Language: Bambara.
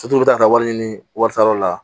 Sotigiw bɛ taa wari ɲini wari la